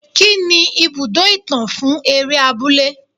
Kí ni ibùdó ìtàn fún eré abúlé.